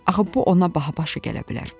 Axı bu ona baha başa gələ bilər.